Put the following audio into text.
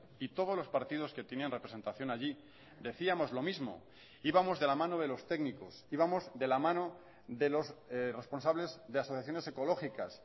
y todos los partidos que tenían representación allí decíamos lo mismo íbamos de la mano de los técnicos íbamos de la mano de los responsables de asociaciones ecológicas